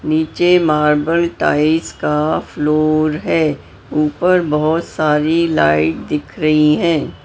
नीचे marble tiles का floor है ऊपर बहोत सारी लाइट दिख रही है।